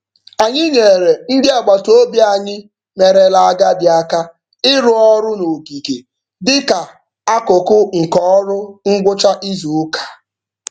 Anyị nyeere ndị agbataobi anyị merela agadi aka ịrụ ọrụ n'ogige dị ka akụkụ nke ọrụ ngwụcha izuụka.